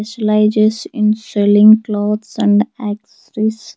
Slices in selling clothes and accessories.